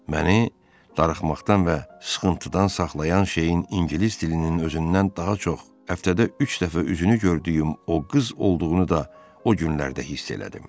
Məni darıxmaqdan və sıxıntıdan saxlayan şeyin ingilis dilinin özündən daha çox həftədə üç dəfə üzünü gördüyüm o qız olduğunu da o günlərdə hiss elədim.